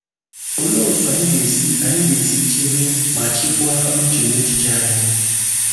Olee otú anyị ga-esi anyị ga-esi chebe ma chịkwaa uche na echiche anyị?